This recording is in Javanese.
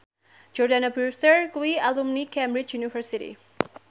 Jordana Brewster kuwi alumni Cambridge University